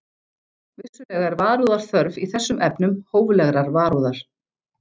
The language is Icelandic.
Vissulega er varúðar þörf í þessum efnum, hóflegrar varúðar.